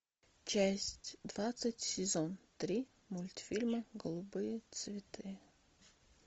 часть двадцать сезон три мультфильма голубые цветы